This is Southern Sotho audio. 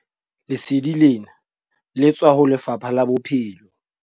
Lesedi lena le tswa ho Lefapha la Bophelo.